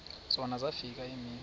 zona zafika iimini